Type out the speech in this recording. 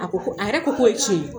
A ko ko a yɛrɛ ko k'o ye tiɲɛ ye